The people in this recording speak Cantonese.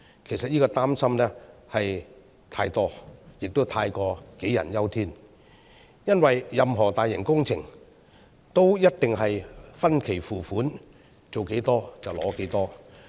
其實這個擔心是過多的，也太過杞人憂天，因為任何大型工程都一定是分期付款，做多少就取多少。